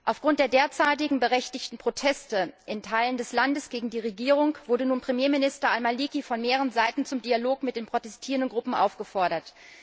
Aufgrund der derzeitigen berechtigten Proteste in Teilen des Landes gegen die Regierung wurde nun Premierminister al Maliki von mehreren Seiten zum Dialog mit den protestierenden Gruppen aufgefordert.